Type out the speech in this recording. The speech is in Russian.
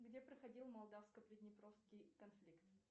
где проходил молдавско приднепровский конфликт